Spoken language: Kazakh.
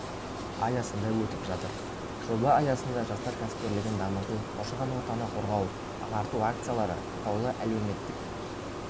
аясында өтіп жатыр жоба аясында жастар кәсіпкерлігін дамыту қоршаған ортаны қорғау ағарту акциялары атаулы әлеуметтік